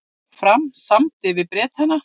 Fram samdi við Bretana